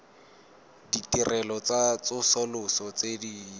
ditirelo tsa tsosoloso tse di